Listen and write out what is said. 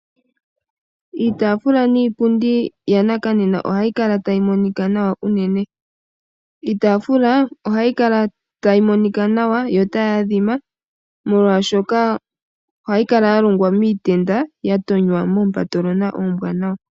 Iitaafula niipundi yanakanena ohayikala tayimonika nawa unene, iitaafula ohayikala tayimonika nawa yo otayi adhima molwashoka ohayikala yalongwa miitenda yatonywa moompatolona oombwanawa.